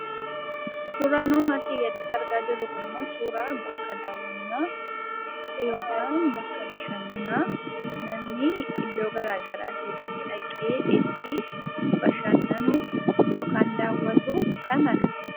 Suuraan nuun asii gaditti argaa jirru Kun immoo, suuraa bakka daawwannaa yookaan bakka bashannanaa namni iddoo garaagaraatii dhaqee itti bashannanu yookaan daawwatu kan agarsiisu